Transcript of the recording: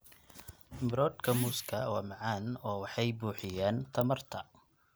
Miroodhka muuska waa macaan oo waxay buuxiyaan tamarta.